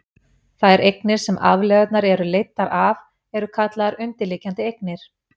þær eignir sem afleiðurnar eru leiddar af eru kallaðar undirliggjandi eignir